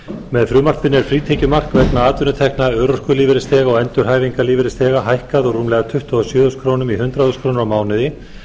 með frumvarpinu er frítekjumark vegna atvinnutekna örorkulífeyrisþega og endurhæfingarlífeyrisþega hækkað úr rúmlega tuttugu og sjö þúsund krónur í hundrað þúsund krónur á mánuði